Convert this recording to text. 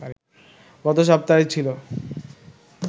গত সপ্তায়ই ছিল